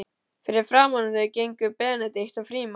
Fyrir framan þau gengu Benedikt og Frímann.